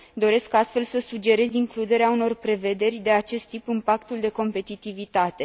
Doresc, astfel, să sugerez includerea unor prevederi de acest tip în pactul de competitivitate.